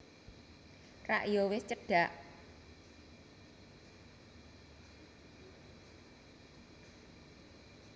Rak ya wis cedhak